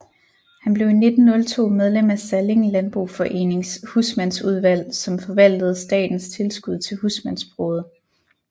Han blev i 1902 medlem af Salling Landboforenings husmandsudvalg som forvaltede statens tilskud til husmandsbruget